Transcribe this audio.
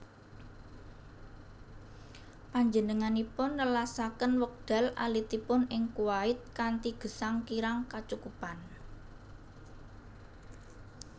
Panjenenganipun nelasaken wekdal alitipun ing Kuwait kanthi gesang kirang kacukupan